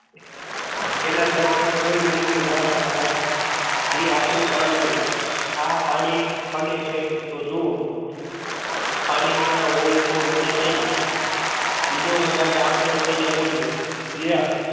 એના જવાબ માં કોઈ બોલ્યું ના ભાઈ ના એ આપડું કામ નઈ. આ પાણી પડે છે. તો જુઓ પાણી ના હોય તો મને કેજો બીજો વધારે આકડો થઇ ને બોલ્યો લ્યો.